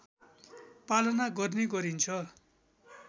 पालना गर्ने गरिन्छ